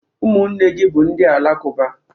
Umunne gi bu ndi Alakụba?